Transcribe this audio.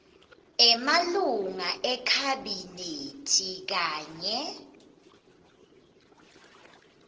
emalunga ekhabhinethi kanye